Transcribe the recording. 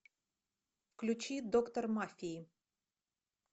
включи доктор мафии